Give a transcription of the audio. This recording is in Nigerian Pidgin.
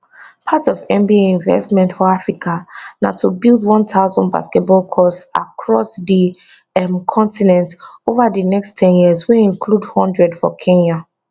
part of nba investment for africa na to build 1000 basketball courts across di um continent ova di next ten years wey include one hundred for kenya